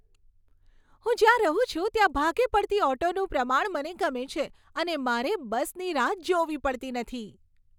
હું જ્યાં રહું છું ત્યાં ભાગે પડતી ઓટોનું પ્રમાણ મને ગમે છે અને મારે બસની રાહ જોવી પડતી નથી.